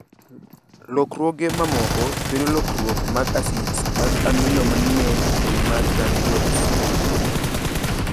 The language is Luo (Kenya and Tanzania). Lokruoge mamoko kelo lokruok mag asids mag amino manie kido mag RUNX2.